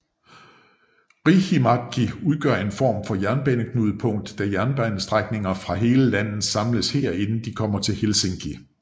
Riihimäki udgør en form for jernbaneknudepunkt da jernbanestrækninger fra hele landet samles her inden de kommer til Helsinki